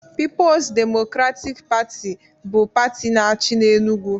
Pipo's Democratic Pati (PDP) bụ pati na-achị n'Enugwu